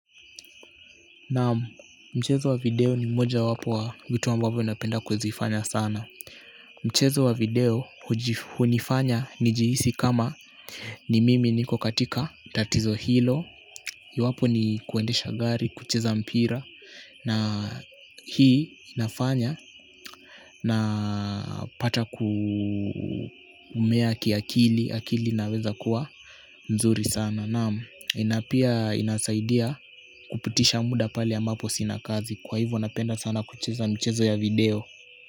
Naam, mchezo wa video ni moja wapo wa vitu ambavyo napenda kuzifanya sana mchezo wa video hunifanya nijihisi kama ni mimi niko katika tatizo hilo iwapo ni kuendesha gari, kucheza mpira hii inafanya napata kumea ki akili, akili inaweza kuwa mzuri sana. Naam, na pia inasaidia kupitisha muda pale ambapo sina kazi. Kwa hivyo napenda sana kucheza mchezo ya video.